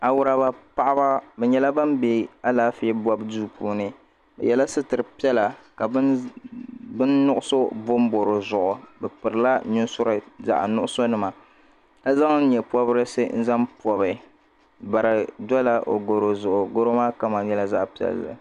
awuriba paɣba bɛ nyɛla ban bɛ alaanƒɛ do puuni be yɛla sutɛripiɛlla bɛni kuɣisi bɔi bɔi di zuɣ bɛ pɛrila nusuri zaɣinugisu nima ka zaŋ nyɛporisi zaŋ pobi bari dola gorozugu goro maa kama nyɛla zaɣ piɛli